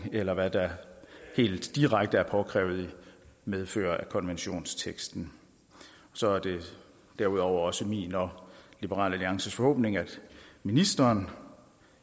eller hvad der helt direkte er påkrævet i medfør af konventionensteksten så er det derudover også min og liberal alliances forhåbning at ministeren